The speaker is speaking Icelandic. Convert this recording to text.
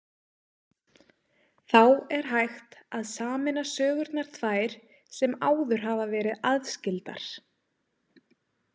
Þá er hægt að sameina sögurnar tvær sem áður hafa verið aðskildar.